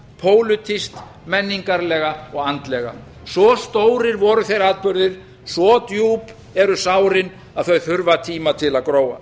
pólitískt menningarlega og andlega svo stórir voru þeir atburðir svo djúp eru sárin að þau þurfa tíma til að gróa